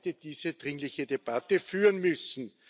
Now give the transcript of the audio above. wir heute diese dringliche Debatte führen müssen.